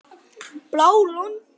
Bláa Lónið